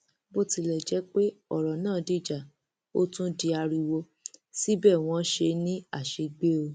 bó tilẹ jẹ pé ọrọ náà dìjà ó tún di ariwo síbẹ wọn ṣe é ní àṣegbè o